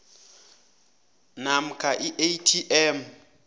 namkha i atm